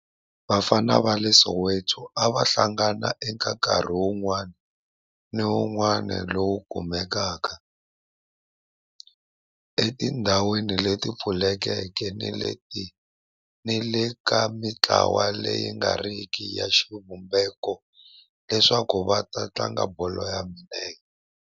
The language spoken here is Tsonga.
Vafana va le Orlando a va hlangana eka nkarhi wun'wana ni wun'wana lowu kumekaka etindhawini leti pfulekeke ni le ka mintlawa leyi nga riki ya xivumbeko leswaku va tlanga bolo ya milenge.